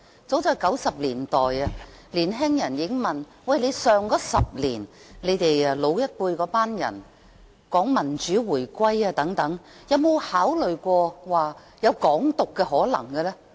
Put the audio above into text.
早在1990年代，有年輕人問我 ，10 年前的老一輩人常說民主回歸，不知他們有沒有考慮過港獨的可能性？